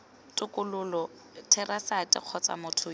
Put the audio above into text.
tokololo therasete kgotsa motho yo